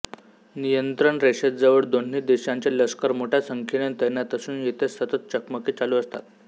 नियंत्रण रेषेजवळ दोन्ही देशांचे लष्कर मोठ्या संख्येने तैनात असून येथे सतत चकमकी चालू असतात